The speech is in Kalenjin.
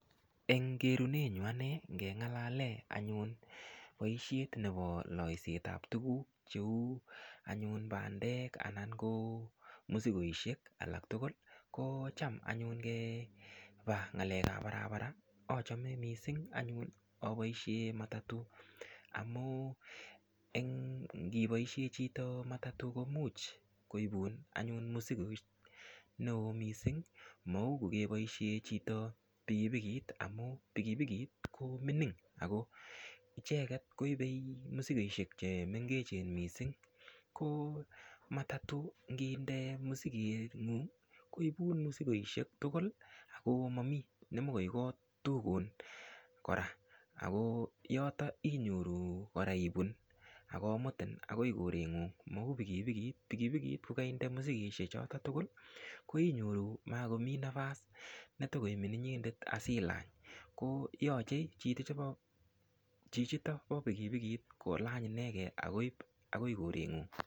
Eng kerune nyu ane nengalale anyun poishet nepo loiset ap tukuuk cheu anyun pandek anan ko musikoishek alak tukul ko cham anyun ngepa ng'alek ap barabara achome mising anyun apoishe matatu amu ngipoisie chito matatu komuch koipun anyun musikoishek neo mising mau kokepaishe chito pikipikit amu pikipikit ko mining ako icheket koipei musikoishek chemengechen mising ko matatu nginde musiket ng'ung' koipun musikoishek tukul akomamii nemokoi kotukun kora ako yoto inyoru kora ipun akomutim akoi korengung mau pikipikit, pikipikit kokainde musikoishek choto tukul koinyoru makomii nafas netokoimin inyendet asilany koyochei chichito po pikipikit kolany inekee akoip akoi korengung.